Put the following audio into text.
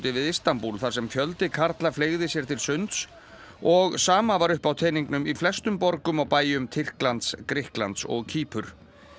við Istanbúl þar sem fjöldi karla fleygði sér til sunds og sama var upp á teningnum í flestum borgum og bæjum Tyrklands Grikklands og Kýpur